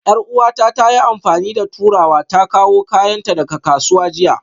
Yar'uwata ta yi amfani da turawa ta kawo kayanta daga kasuwa jiya